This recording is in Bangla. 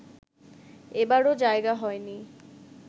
এবারো জায়গা হয়নি